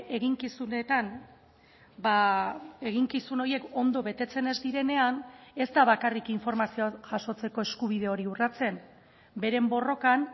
eginkizunetan eginkizun horiek ondo betetzen ez direnean ez da bakarrik informazioa jasotzeko eskubide hori urratzen beren borrokan